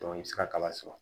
i bɛ se ka kaba sɔrɔ